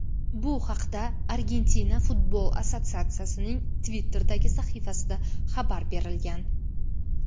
Bu haqda Argentina futbol assotsiatsiyasining Twitter’dagi sahifasida xabar berilgan.